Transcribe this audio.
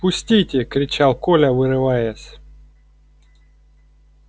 пустите кричал коля вырываясь